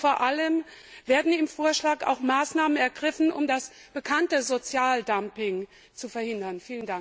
Und vor allem Werden im Vorschlag auch Maßnahmen ergriffen, um das bekannte Sozialdumping zu verhindern?